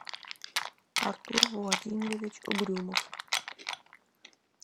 артур владимирович угрюмов